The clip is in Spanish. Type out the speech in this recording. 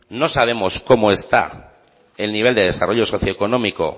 no sabemos cómo está el nivel de desarrollo socioeconómico